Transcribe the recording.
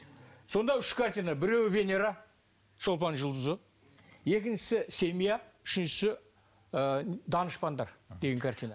сонда үш картина біреуі венера шолпан жұлдызы екіншісі семья үшіншісі ы данышпандар деген картина